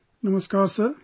Namaskar Sir